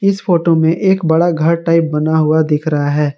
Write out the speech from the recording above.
इस फोटो में एक बड़ा घर टाइप बना हुआ दिख रहा है।